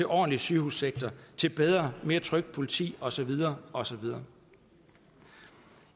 ordentlig sygehussektor til bedre og mere trygt politi og så videre og så videre